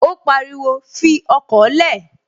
Ó pariwo, "Fi ọkọ̀ lẹ̀!"